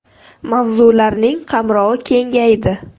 Mavzularining qamrovi kengaydi.